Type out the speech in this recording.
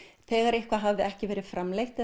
þegar eitthvað hafði ekki verið framleitt